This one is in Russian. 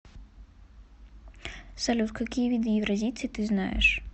салют какие виды евразийцы ты знаешь